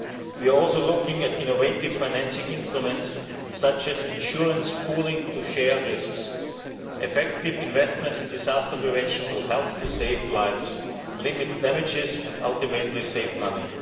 We are also looking at innovative financing instruments, such as insurance pooling to share risks. Effective investments in disaster prevention will help to save lives, limit damages and, ultimately, save money.